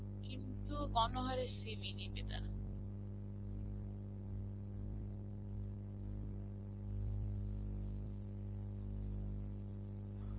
কিন্তু, গণহারে CV নেবে তারা.